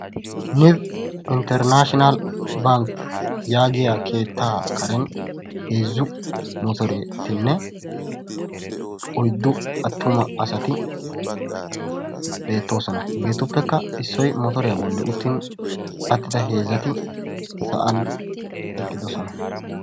Nib internashinal bank yaagiya keettaa karen heezzu motoretinne oyddu attuma asati beettoosona hegeetuppekka issoyi motoriya bolli uttin attida heezzati sa"an eqqidosona.